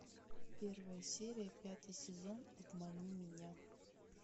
первая серия пятый сезон обмани меня